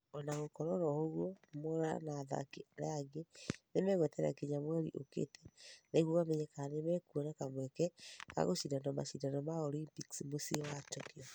ona gũgĩkũrwo ũguo mwaura o ta athaki aria ange ni megueterera nginya mweri ũkite nigũo mamenye kana nimekuona kamweke gagũshindana mashidano ma olympics muciĩ wa tokyo.